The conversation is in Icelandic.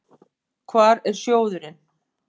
Hvar er sjóðurinn?